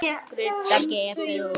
Skrudda gefur út.